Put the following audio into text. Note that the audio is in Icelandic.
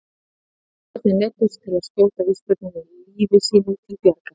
Svíarnir neyddust til að skjóta ísbjörninn lífi sínu til bjargar.